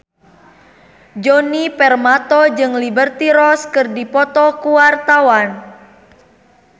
Djoni Permato jeung Liberty Ross keur dipoto ku wartawan